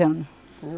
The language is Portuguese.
anos